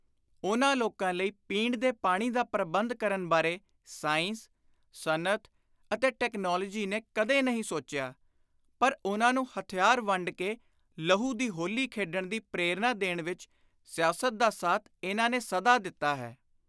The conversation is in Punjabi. ਉਨ੍ਹਾਂ ਲੋਕਾਂ ਲਈ ਪੀਣ ਦੇ ਪਾਣੀ ਦਾ ਪ੍ਰਬੰਧ ਕਰਨ ਬਾਰੇ ਸਾਇੰਸ, ਸਨਅਤ ਅਤੇ ਟੈਕਨਾਲੋਜੀ ਨੇ ਕਦੇ ਨਹੀਂ ਸੋਚਿਆ ਪਰ ਉਨ੍ਹਾਂ ਨੂੰ ਹਥਿਆਰ ਵੰਡ ਕੇ ਲਹੂ ਦੀ ਹੋਲੀ ਖੇਡਣ ਦੀ ਪ੍ਰੇਰਣਾ ਦੇਣ ਵਿਚ ਸਿਆਸਤ ਦਾ ਸਾਥ ਇਨ੍ਹਾਂ ਨੇ ਸਦਾ ਦਿੱਤਾ ਹੈ।